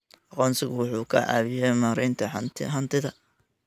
Aqoonsigu wuxuu ka caawiyaa maaraynta hantida.